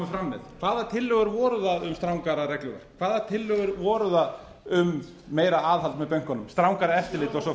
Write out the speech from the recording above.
með hvaða tillögur voru það um strangara regluverk hvaða tillögur voru það um meira aðhald með bönkunum strangara eftirlit og svo